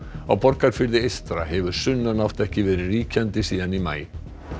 á Borgarfirði eystra hefur sunnanátt ekki verið ríkjandi síðan í maí